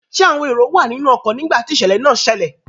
Ṣẹ́ àwọn èrò wà nínú ọkọ nígbà tí ìṣẹ̀lẹ̀ náà ṣẹlẹ̀?